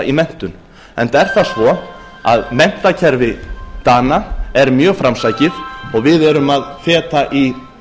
í menntun enda er það svo að menntakerfi dana er mjög framsækið og við erum að feta í